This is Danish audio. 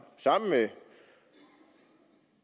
sammen med